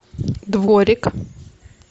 дворик